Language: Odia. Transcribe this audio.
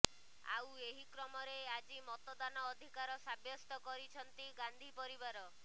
ଆଉ ଏହି କ୍ରମରେ ଆଜି ମତଦାନ ଅଧିକାର ସାବ୍ୟସ୍ତ କରିଛନ୍ତି ଗାନ୍ଧି ପରିବାର